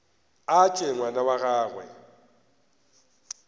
a tšwe ngwana wa gagwe